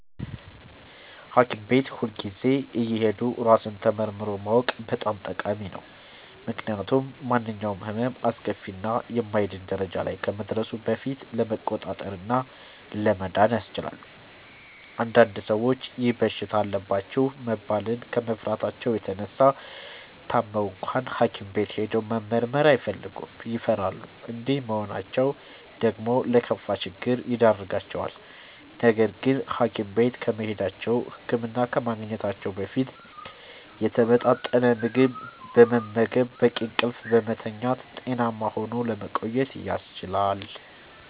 ሀኪም ቤት ሁልጊዜ እየሄዱ ራስን ተመርምሮ ማወቅ በጣም ጠቃሚ ነው። ምክንያቱም ማንኛውም ህመም አስከፊ እና የማይድን ደረጃ ላይ ከመድረሱ በፊት ለመቆጣጠር እና ለመዳን ያስችላል። አንዳንድ ሰዎች ይህ በሽታ አለባችሁ መባልን ከመፍራታቸው የተነሳ ታመው እንኳን ሀኪም ቤት ሄዶ መመርመር አይፈልጉም ይፈራሉ። እንዲህ መሆናቸው ደግሞ ለከፋ ችግር ይዳርጋቸዋል። ነገርግን ሀኪም ቤት ከመሄዳቸው(ህክምና ከማግኘታቸው) በፊት የተመጣጠነ ምግብ በመመገብ፣ በቂ እንቅልፍ በመተኛት ጤናማ ሆኖ ለመቆየት ያስችላል።